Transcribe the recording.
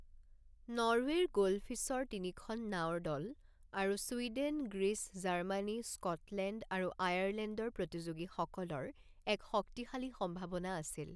নৰৱেৰ গোল্ডফিছৰ তিনিখন নাওৰ দল আৰু ছুইডেন, গ্ৰীচ, জাৰ্মানী, স্কটলেণ্ড আৰু আয়াৰলেণ্ডৰ প্ৰতিযোগীসকলৰ এক শক্তিশালী সম্ভাৱনা আছিল।